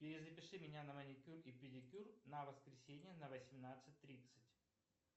перезапиши меня на маникюр и педикюр на воскресенье на восемнадцать тридцать